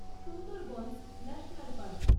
Sundarbans national park